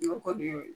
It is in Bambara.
N'o kɔni ye